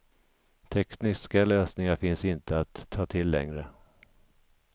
Tekniska lösningar finns inte att ta till längre.